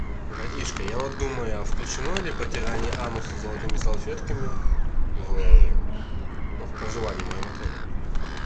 братишка я вот думаю а включено ли протирание ануса золотыми салфетками в проживание в моем отеле